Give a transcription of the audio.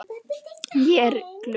Ég er glöð.